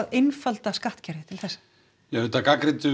einfalda skattkerfið við gagnrýndum